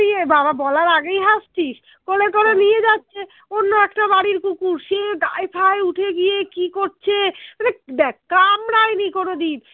নিয়ে বাবা বলার আগেই হাঁসছিস কোলে করে নিয়ে যাচ্ছে অন্য একটা বাড়ির কুকুর সে গায়ে ফায়ে উঠে গিয়ে কি করছে দ্যাখ কামড়ায়নি কোনোদিন